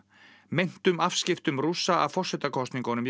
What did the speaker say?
meintum afskiptum Rússa af forsetakosningunum